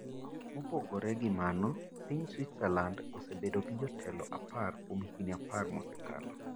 Mopogore gi mano, piny Switzerland osebedo gi jotelo 10 kuom higini apar mosekalo.